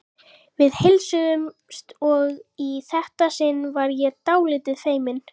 Við heilsuðumst og í þetta sinn var ég dálítið feimin.